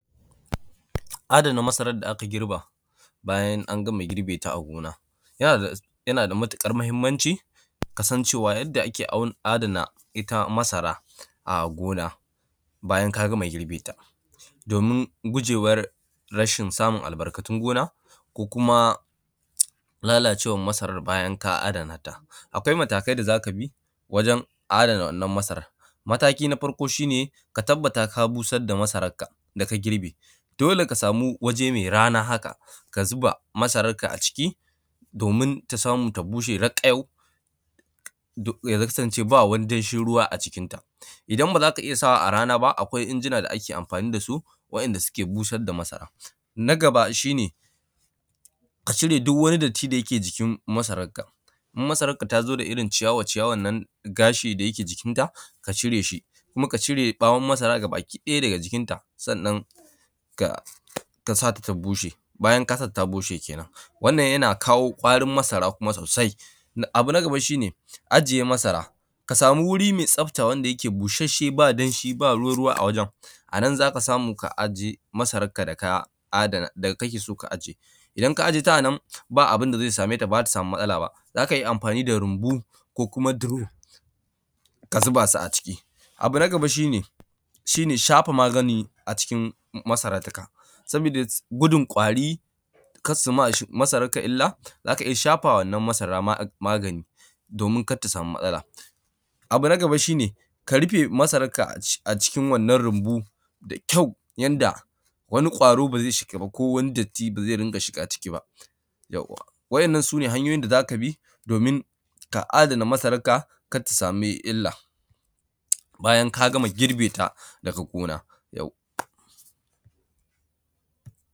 Adana masarar da aka girba, bayan an gama girbe ta a gona. Yana da; yana da matiƙar muhimmanci, ka san cewa yadda ake au; adana ita masara a gona bayan ka gama girbe ta. Domin gujewar rashin samun albarkatun gona ko kuma lalacewar masarar bayan ka adana ta. Akwai matakai da za ka bi wajen adana wannan masara, mataki na farko shi ne, ka tabbata ka busar da masarakka da ka girbe, dole ka samu waje me rana haka, ka zuba masarakka a ciki domin ta samu ta bushe raƙayau, duk ya kasance ba wani danshin ruwa a cikinta. Idan ba za ka iya sa wa a ran aba, akwai injina da ake amfani da su wa’yanda suke busad da masara. Na gaba, shi ne ka cire duw wani datti da yake jikin masarakka, in masarakka ta zo da irin ciyawa-ciyawan nan, gashi da yake jikinta ka cire shi, kuma ka cire ƃawon masara gabakiɗaya daga jikinta. Sannan, ka; ka sa ta ta bushe, bayan ka sa ta ta bushe kenan, wannan yana kawo ƙwarin masara kuma sosai. Na; abu na gaba, shi ne ajiye masara, ka samu wuri me tsafta wanda yake busasshe ba danshi ba ruwa-ruwa a wajen, a nan za ka samu ka ajiye masarakka da ka adana; da kake so ka aje. Idan ka aje ta a nan, ba abin da ze same ta, ba za ta samu matsala ba. Za ka iya amfani da rumbu ko kuma duro ka zuba su a ciki. Abu na gaba, shi ne; shi ne shafa magani a cikin masara taka, saboda gudun ƙwari, kas su mamasaraklka illa, za ka iya shafa wa wannan masara magani domin kat ta samu matsala. Abu na gaba, shi ne ka rufe masarakka aci; a cikin wannan runmu da kyau yanda wani ƙwaro ba ze shiga ba ko wani datti ba ze rinƙa shiga ciki ba, yauwa! Wa’yannan su ne hanyoyin da za ka bi domin ka adana masarakka kat ta sami illa bayan k a gama girbe ta daga gona, yauwa.